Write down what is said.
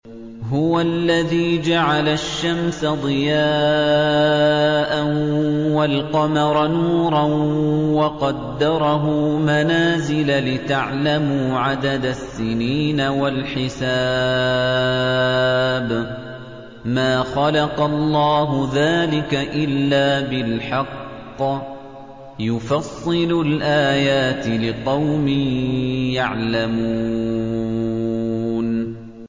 هُوَ الَّذِي جَعَلَ الشَّمْسَ ضِيَاءً وَالْقَمَرَ نُورًا وَقَدَّرَهُ مَنَازِلَ لِتَعْلَمُوا عَدَدَ السِّنِينَ وَالْحِسَابَ ۚ مَا خَلَقَ اللَّهُ ذَٰلِكَ إِلَّا بِالْحَقِّ ۚ يُفَصِّلُ الْآيَاتِ لِقَوْمٍ يَعْلَمُونَ